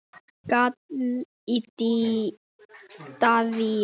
gall í Daðínu.